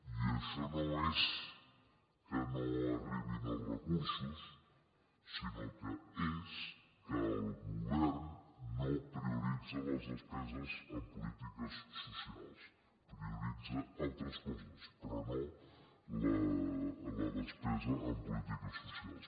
i això no és que no arribin els recursos sinó que és que el govern no prioritza les despeses en polítiques socials prioritza altres coses però no la despesa en polítiques socials